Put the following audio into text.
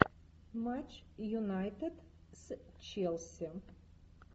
матч юнайтед с челси